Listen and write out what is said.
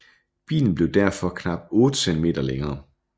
Bilen blev derfor knap 8 cm længere